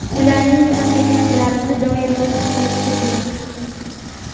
ularning ham mehnatlarini doimo his qilib turdik.